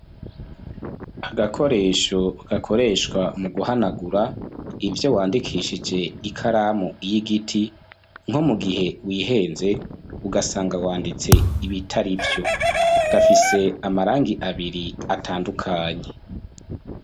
Agakoresho gakoreshwa mu guhanagura ivyo wandikishije ikaramu y'igiti nko mu gihe wihenze ugasanga wanditse ibitarivyo, gafise amarangi abiri atandukanye.